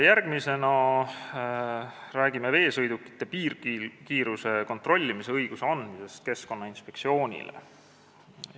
Järgmisena räägime veesõidukite piirkiiruse kontrollimise õiguse andmisest Keskkonnainspektsioonile.